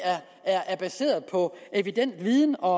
er baseret på evidens og viden og